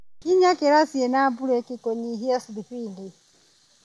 Kinya kĩraci na mburĩki kunyihia thibindi.